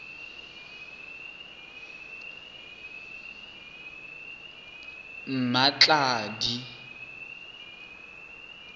mmatladi